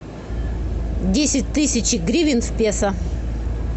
десять тысяч гривен в песо